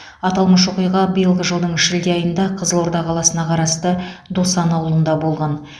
аталмыш оқиға биылғы жылдың шілде айында қызылорда қаласына қарасты досан ауылында болған